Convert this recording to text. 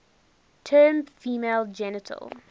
term female genital